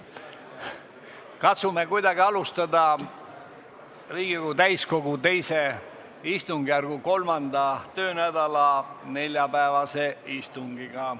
Katsume kuidagi alustada Riigikogu täiskogu II istungjärgu 3. töönädala neljapäevast istungit.